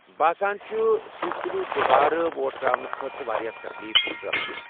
باسان چُھ تُہۍ تُلِو دُبارٕ ووٹ ترٛاونہٕ خٲطرٕ واریاہ تكلیف مِسٹر اکھشے ۔